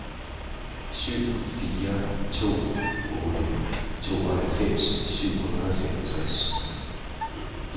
syv fire to otte tooghalvfems syv hundrede og femogtres